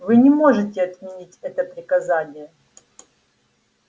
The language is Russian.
вы не можете отменить это приказание